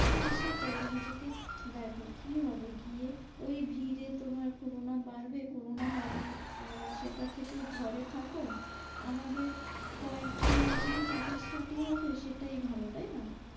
হ্যাঁ সেটাই নিজেকে দেখো কি হবে গিয়ে? ওই ভিড়ে তোমার corona বাড়বে corona বারণ আহ সেটার থেকে ঘরে থাকো আমাদের কয়েকজন মিলেই party সার্টি হবে সেটাই ভালো। তাই না?